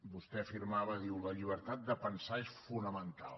vostè afirmava diu la llibertat de pensar és fonamental